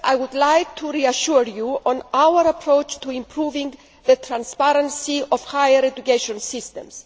Firstly, I would like to reassure you on our approach to improving the transparency of higher education systems.